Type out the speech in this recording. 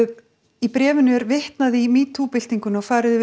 í bréfinu er vitnað í metoo byltinguna og farið yfir